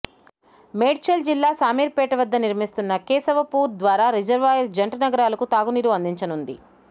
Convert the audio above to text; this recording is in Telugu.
మేడ్చల్ జిల్లా శామీర్పేట వద్ద నిర్మిస్తున్న కేశవపూర్ ద్వారా రిజర్వాయర్ జంటనగరాలకు తాగునీరు అందించనున్నది